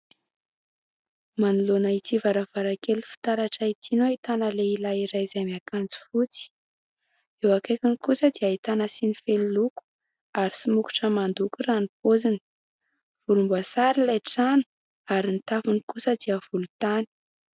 Manoloana ity varavarankely fitaratra ity no ahitana lehilahy iray izay miakanjo fotsy, eo akaikiny kosa dia ahitana siny feno loko ary somokotra mandoko raha ny paoziny, volomboasary ilay trano ary ny tafony kosa dia volontany.